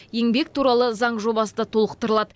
еңбек туралы заң жобасы да толықтырылады